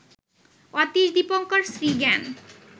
Atish Dipankar Srigyan